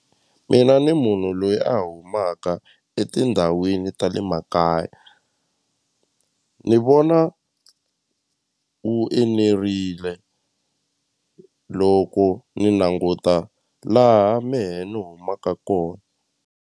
Mina ni munhu loyi a humaka etindhawini ta le makaya ni vona wu enerile loko ni languta laha mehe ni humaka kona.